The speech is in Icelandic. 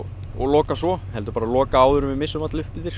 og loka svo heldur bara loka áður en við missum alla upp eftir